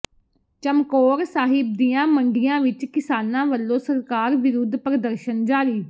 ਚਮਕੌਰ ਸਾਹਿਬ ਦੀਆਂ ਮੰਡੀਆਂ ਵਿੱਚ ਕਿਸਾਨਾਂ ਵੱਲੋਂ ਸਰਕਾਰ ਵਿਰੁੱਧ ਪ੍ਰਦਰਸ਼ਨ ਜਾਰੀ